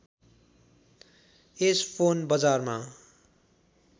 यस phone बजारमा